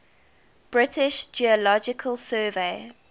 british geological survey